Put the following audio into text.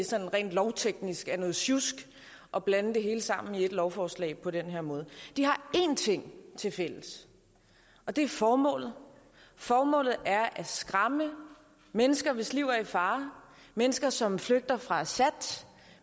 sådan rent lovteknisk er noget sjusk at blande det hele sammen i et lovforslag på den her måde de har én ting tilfælles og det er formålet formålet er at skræmme mennesker hvis liv er i fare mennesker som flygter fra assad